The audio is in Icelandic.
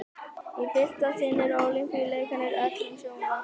í fyrsta sinn er ólympíuleikunum öllum sjónvarpað